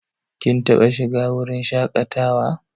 Kin taɓa shiga wurin shaƙatawa?